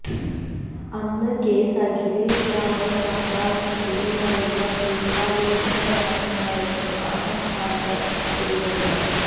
അന്ന് കേസ് അഖിലേഷ് യാദവ് സര്ക്കാരിനെതിരായുള്ള ഗൂഡാലോചനയാണെന്നായിരുന്നു അസം ഖാന്റെ പ്രതികരണം